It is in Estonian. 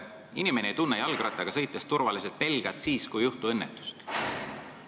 Inimene ei tunne ennast jalgrattaga sõites turvaliselt pelgalt sellepärast, et ta teab, et sel põhjusel õnnetusi tihti ei juhtu.